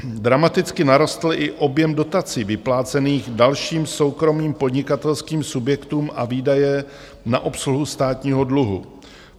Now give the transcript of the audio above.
Dramaticky narostl i objem dotací vyplácených dalším soukromým podnikatelským subjektům a výdaje na obsluhu státního dluhu.